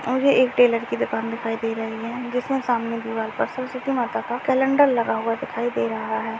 और ये एक टेलर की दुकान दिखाई दे रही है जिसमें सामने दीवाल पर सरस्वती माता का कैलेंडर लगा हुआ दिखाई दे रहा है।